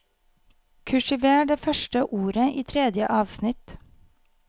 Kursiver det første ordet i tredje avsnitt